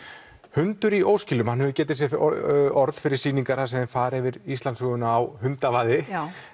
hundur í óskilum hefur getið sér orð fyrir sýningar þar sem þeir fara yfir Íslandssöguna á hundavaði